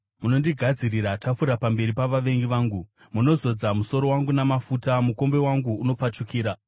Munondigadzirira tafura pamberi pavavengi vangu. Munozodza musoro wangu namafuta; mukombe wangu unopfachukira.